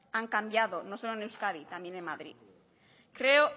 han cambiado no solo en euskadi también en madrid creo